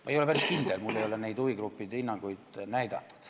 Ma ei ole päris kindel, mulle ei ole huvigruppide hinnanguid näidatud.